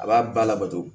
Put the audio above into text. A b'a ba labato